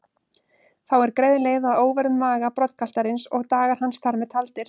Þá er greið leið að óvörðum maga broddgaltarins og dagar hans þar með taldir.